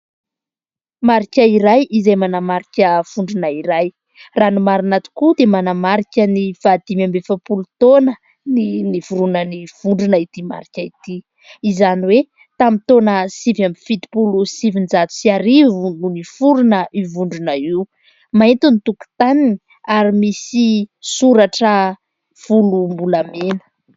Marika iray izay manamarika vondrona iray. Raha ny marina tokoa dia manamarika ny fahadimy amby efapolo taonan'ny niforonan'ny vondrona ity marika ity ; izany hoe tamin'ny taona sivy amby fitopolo sy sivinjato sy arivo no niforona io vondrona io. Mainty ny tokontaniny ary misy soratra volombolamena.